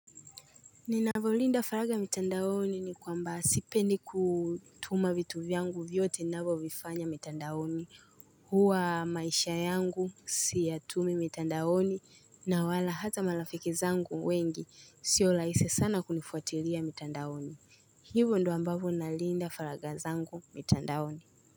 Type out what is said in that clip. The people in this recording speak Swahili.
Ninavolinda faraga mitandaoni ni kwamba sipendi kutuma vitu vyangu vyote ninavyo vifanya mitandaoni Huwa maisha yangu siyatumi mitandaoni na wala hata malafiki zangu wengi siolaisi sana kunifuatiria mitandaoni Hivo ndo ambavo nalinda faraga zangu mitandaoni.